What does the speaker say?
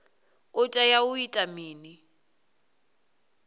u tea u ita mini